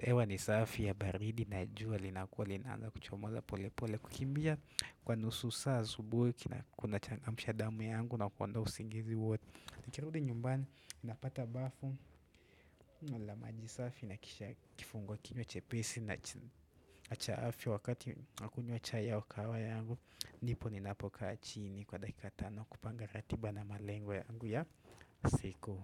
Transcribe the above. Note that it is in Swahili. hewa ni safi ya baridi na jua linakua linaanza kuchomoza pole pole kukimbia kwa nusu saa subuhi Kuna changamsha damu yangu na kuondoa usingizi wote Kira hudi nyumbani Napata bafu Namaji safi nakisha kifungua kinywa chepesi na cha afya wakati Nakunywa chai yangu au kahawa yangu Nsipo ni na po kaa chini kwa dakika tano kupanga ratiba na malengo yangu ya siku.